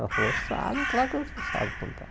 Ela falou, sabe, claro que você sabe contar.